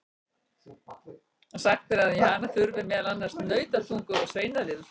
Sagt er að í hana þurfi meðal annars nautatungu og svínafitu.